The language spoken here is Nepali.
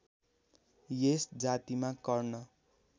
यस जातिमा कर्ण